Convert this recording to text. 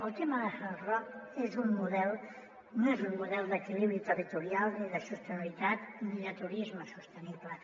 el tema del hard rock no és un model d’equilibri territorial ni de sostenibi·litat ni de turisme sostenible